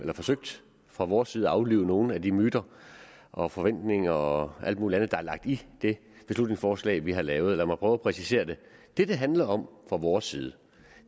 har forsøgt fra vores side at aflive nogle af de myter og forventninger og alt muligt andet der er lagt i det beslutningsforslag vi har lavet lad mig prøve at præcisere det det det handler om fra vores side